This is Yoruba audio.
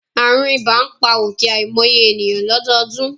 Àrùn ibà ń pa ọ̀kẹ́ àìmọye ènìyàn lọ́dọọdún